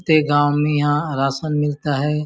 ते गांव में यहाँ राशन मिलता है।